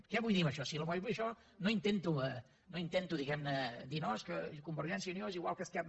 què vull dir amb això si amb això no intento diguem ne dir no és que convergència i unió és igual que esquerra